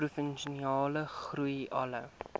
provinsiale groei alle